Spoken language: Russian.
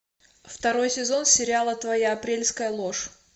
второй сезон сериала твоя апрельская ложь